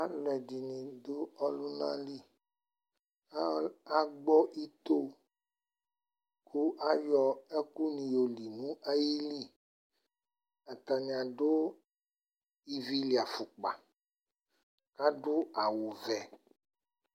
Alʋɛdɩnɩ dʋ ɔlʋna li :a agbɔ ito; kʋ ayɔ ɛkʋnɩ yoli nʋ ayili Atanɩ adʋ iviliafʋkpa , k'adʋ awʋvɛ